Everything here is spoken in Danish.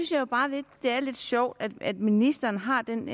det er lidt sjovt at ministeren har den